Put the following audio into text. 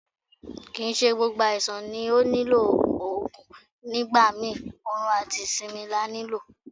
Kì ń ṣe gbogbo àìsàn ló nílò Ògùn, nígbà mi orun àti ìsinmi la ní lò.